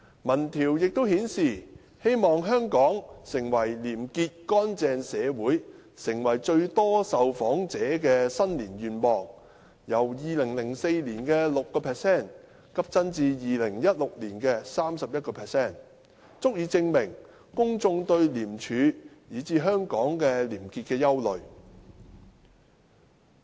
民調亦顯示，"希望香港成為廉潔乾淨社會"成為最多受訪者的新年願望，由2004年的 6% 急增至2016年的 31%， 足以證明公眾對廉署以至香港廉潔的憂慮。